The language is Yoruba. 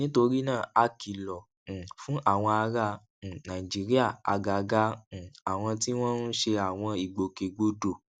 nítorí náà a kìlò um fún àwọn ará um nàìjíríà àgàgà um àwọn tí wọn ń ṣe àwọn ìgbòkègbodò